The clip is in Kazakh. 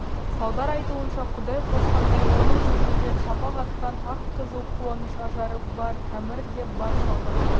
салдар айтуынша құдай қосқандай оның жүзінде шапақ атқан ақ-қызыл қуаныш ажары бар әмір де бар салдан